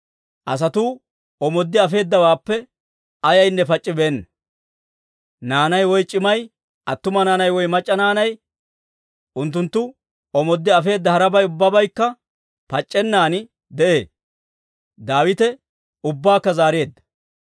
Asatuu omooddi afeedawaappe ayaynne pac'c'ibeenna; naanay woy c'imay, attuma naanay woy mac'c'a naanay, unttunttu omooddi afeedda harabay ubbabaykka pac'c'ennan de'ee; Daawite ubbaakka zaareedda.